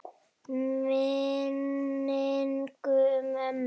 Minning um mömmu.